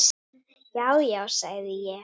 Já, já, sagði ég.